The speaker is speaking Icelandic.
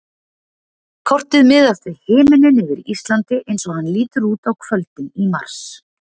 Kortið miðast við himininn yfir Íslandi eins og hann lítur út á kvöldin í mars.